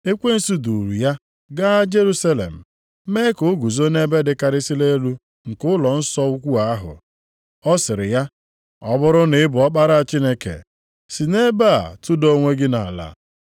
Ekwensu duuru ya gaa Jerusalem, mee ka o guzo nʼebe dịkarịsịrị elu nke ụlọnsọ ukwu ahụ. Ọ sịrị ya, “Ọ bụrụ na ị bụ Ọkpara Chineke, si nʼebe a tụda onwe gị nʼala.